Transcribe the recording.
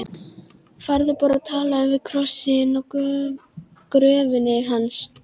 Farðu bara og talaðu við krossinn á gröfinni hans.